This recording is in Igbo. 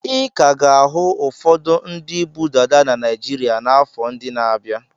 Ị ka ga-ahụ ụfọdụ ndị bu dada na Naịjirịa n'afọ ndị na-abịa.